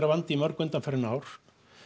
vandinn mörg undanfarin ár